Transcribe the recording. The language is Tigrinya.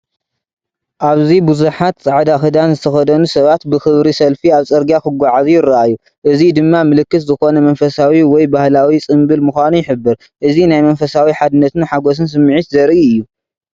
ኣብዚ ብዙሓት ጻዕዳ ክዳን ዝተኸድኑ ሰባት ብኽብሪ ሰልፊ ኣብ ጽርግያ ክጓዓዙ ይረኣዩ። እዚ ድማ ምልክት ዝኾነ መንፈሳዊ ወይ ባህላዊ ጽምብል ምዃኑ ይሕብር። እዚ ናይ መንፈሳዊ ሓድነትን ሓጎስን ስምዒት ዘርኢ እዩ።